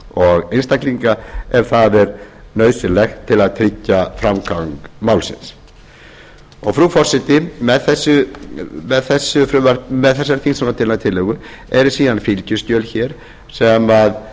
og einstaklinga ef það er nauðsynlegt til að tryggja framgang málsins frú forseti með þessari þingsályktunartillögu eru síðan fylgiskjöl sem